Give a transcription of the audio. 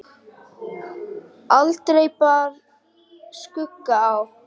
Aldrei bar skugga á.